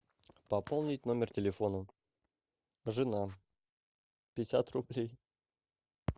пополнить номер телефона жена пятьдесят рублей